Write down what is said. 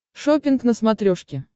шоппинг на смотрешке